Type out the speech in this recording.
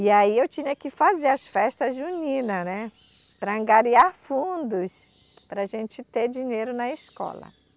E aí eu tinha que fazer as festas juninas né, para angariar fundos, para a gente ter dinheiro na escola.